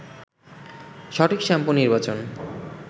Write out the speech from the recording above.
সঠিক শ্যাম্পু নির্বাচন